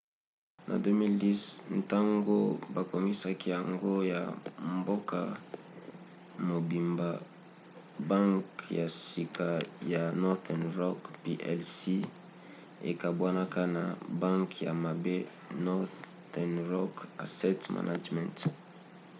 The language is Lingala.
na 2010 ntango bakomisaki yango ya mboka mobimba banke ya sika ya northern rock plc ekabwanaka na 'banke ya mabe' northern rock asset management